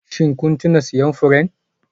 Shin kun tuna siyan furen?